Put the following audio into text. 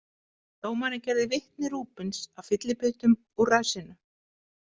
Dómarinn gerði vitni Rubins að fyllibyttum úr ræsinu.